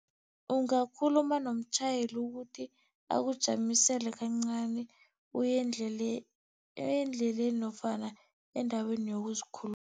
Ungakhuluma nomtjhayeli ukuthi akujamisele kancani, uye endleleni nofana endaweni yokuzikhulula.